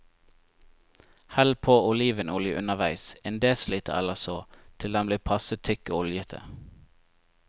Hell på olivenolje underveis, en desiliter eller så, til den blir passe tykk og oljete.